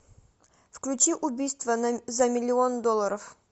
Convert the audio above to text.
включи убийство за миллион долларов